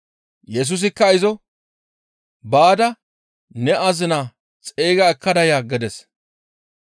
Yesusikka izo, «Baada ne azinaa xeyga ekkada ya» gides.